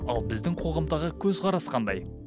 ал біздің қоғамдағы көзқарас қандай